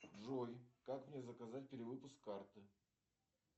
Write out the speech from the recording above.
джой как мне заказать перевыпуск карты